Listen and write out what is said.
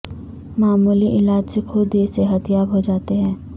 معمولی علاج سےخود ہی صحت یاب ہو جاتے ہیں